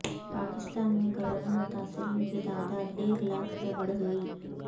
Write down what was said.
پاکستان میں کرونا متاثرین کی تعداد ایک لاکھ سے بڑھ گئی